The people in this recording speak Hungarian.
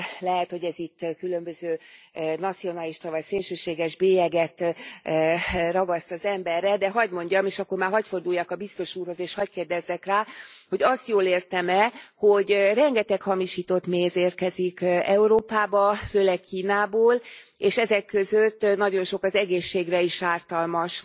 Lehet, hogy ez itt különböző nacionalista vagy szélsőséges bélyeget ragaszt az emberre, de hagy mondjam, és akkor már hagy forduljak a biztos úrhoz, és hagy kérdezzek rá hogy azt jól értem e, hogy rengeteg hamisított méz érkezik Európába, főleg Kínából, és ezek között nagyon sok az egészségre is ártalmas.